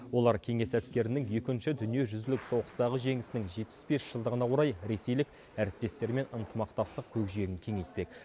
олар кеңес әскерінің екінші дүниежүзілік соғыстағы жеңісінің жетпіс бес жылдығына орай ресейлік әріптестерімен ынтымақтастық көкжиегін кеңейтпек